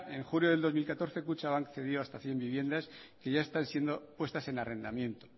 en junio de dos mil catorce kutxabank cedió hasta cien viviendas que ya están siendo puestas en arrendamiento